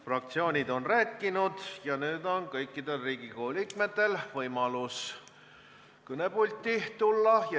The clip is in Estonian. Fraktsioonid on rääkinud ja nüüd on kõikidel Riigikogu liikmetel võimalus kõnepulti tulla.